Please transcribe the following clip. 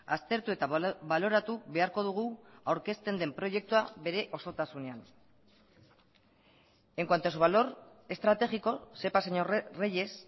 aztertu eta baloratu beharko dugu aurkezten den proiektua bere osotasunean en cuanto a su valor estratégico sepa señor reyes